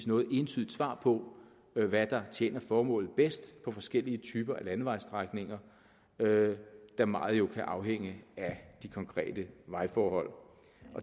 noget entydigt svar på hvad der tjener formålet bedst på forskellige typer af landevejstrækninger da meget jo kan afhænge af de konkrete vejforhold